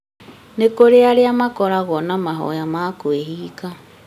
nĩ kũrĩ arĩa makoragwo na mahoya ma kwĩhinga